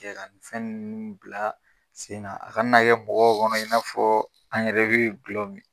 Jɛn ka ni fɛn nunnu bila sen na a ka n'a kɛ mɔgɔw kɔnɔ in n'a fɔ an yɛrɛ bɛ gulɔ min.